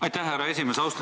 Aitäh, härra esimees!